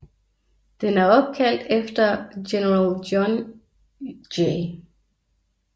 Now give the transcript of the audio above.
Den er opkalt efter general John J